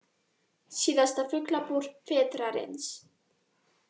Síðasta Fuglabúr vetrarins